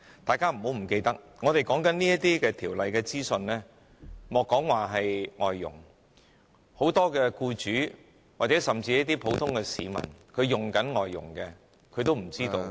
大家不要忘記，說到這些有關法例的資訊，莫說是外傭，很多僱主或僱用外傭的普通市民也不知道。